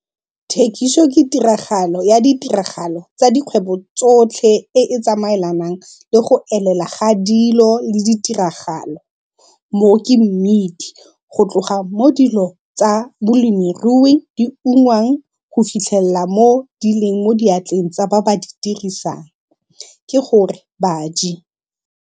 Thekiso ke tiragalo ya ditiragalo tsa dikgwebo tsotlhe e e tsamaelanang le go elela ga dilo le ditiragalo, mo ke mmidi, go tloga mo dilo tsa bolemirui di ungwang go fitlhelela mo di leng mo diatleng tsa ba ba di dirisang, ke gore baji.